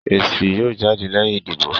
Èsì yóò jáde lẹ́yìn ìdìbò